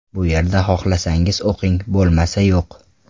Bu yerda xohlasangiz o‘qing, bo‘lmasa yo‘q.